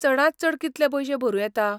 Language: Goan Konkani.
चडांत चड कितलें पयशें भरूं येतात?